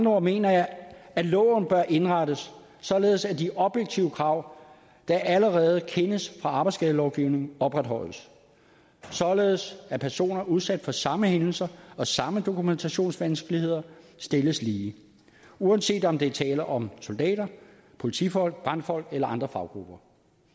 ord mener jeg at loven bør indrettes således at de objektive krav der allerede kendes fra arbejdsskadelovgivningen opretholdes således at personer udsat for samme hændelser og samme dokumentationsvanskeligheder stilles lige uanset om der er tale om soldater politifolk brandfolk eller andre faggrupper